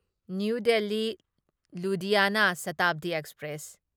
new Delhi Ludhiana Shatabdi express